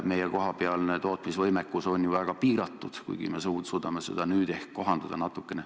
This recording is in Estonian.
Meie kohapealne tootmisvõimekus on ju väga piiratud, kuigi nüüd me suudame seda ehk natukene kohandada.